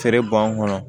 Feere b'an kɔnɔ